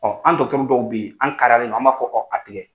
an dɔw bɛ ye an kaariyalen do a m'a fɔ a tigɛ.